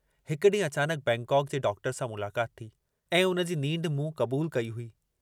हिक डींहुं अचानक बैंकाक जे डॉक्टर सां मुलाकात थी, ऐं उनजी नींढ मूं कबूल कई हुई।